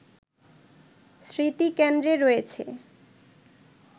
স্মৃতিকেন্দ্রে রয়েছে